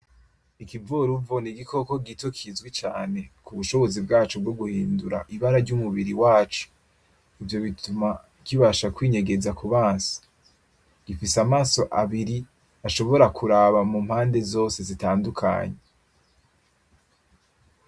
Ikivoruvo n'igikoko gito kizwi cane kubushobozi bwaco bwo guhindura ibara ry'umubiri waco, ivyo bituma kibasha kwinyegeza kubansi gifise amaso abiri ashobora kuraba mu mpande zose zitandukanye.